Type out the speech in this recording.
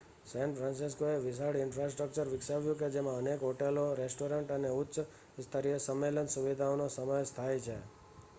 San ફ્રાન્સિસ્કોએ વિશાળ infrastructure વિકાવ્યું છે જેમાં અનેક હોટેલો રેસ્ટોરેન્ટ્સ અને ઉચ્ચ-સ્તરીય સંમેલન સુવિધાઓનો સમાવેશ થાય છે